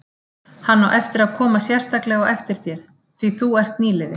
Hann á eftir að koma sérstaklega á eftir þér, því þú ert nýliði.